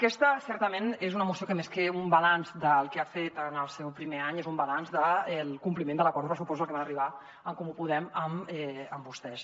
aquesta certament és una moció que més que un balanç del que ha fet en el seu primer any és un balanç del compliment de l’acord de pressupostos al que van arribar en comú podem amb vostès